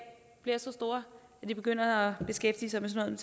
bliver så store at de begynder at beskæftige sig med sådan